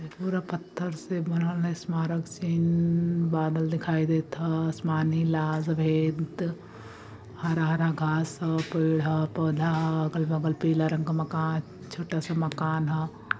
पूरा पत्थर से बनल बादल दिखाई देत ह असमानी लाल सफ़ेद हरा-हरा घास ह पेड़ ह पौधा ह अगल-बगल पिला रंग क मकान छोटा सा मकान ह।